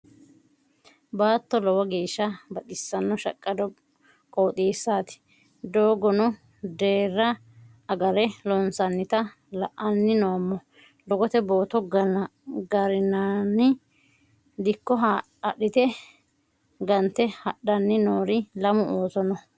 Baatto lowo geeshsha baxisino shaqqado qooxeesati doogono deera agare loonsonnitta la'ani noommo doogote bootto gorinaniha dikko adhite gante hadhani noori lamu ooso no.